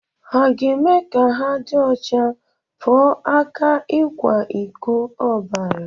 Hà ga-eme ka ha dị ọcha pụọ ​​aka ikwa iko obara?